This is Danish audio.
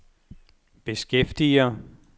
beskæftiger